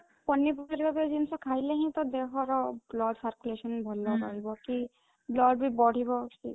ପନିପରିବା ଜିନିଷ ଖାଇଲେ ହିଁ ତ ଦେହର blood circulation ଭଲ ରହିବ କି blood ବି ବଢିବ